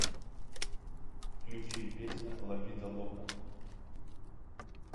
включи песня ла вида лока